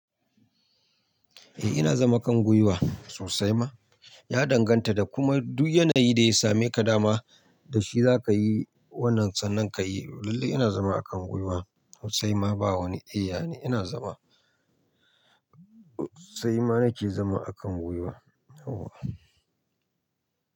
Eh ina zama kan gwiwa sosai ma, ya danganta da kuma duk yanayi da ya same ka dama da shi za ka yi wannan tsanan ka yi. Lallai ina zama a kan gwiwa sosai ma ba wani iya ne ina zama. Sosai ma na ke zama a kan gwiwa.